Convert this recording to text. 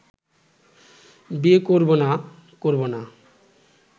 বিয়ে করব না করব না